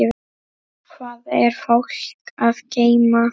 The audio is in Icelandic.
Hvað er fólk að geyma?